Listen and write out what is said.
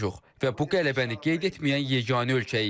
və bu qələbəni qeyd etməyən yeganə ölkəyik.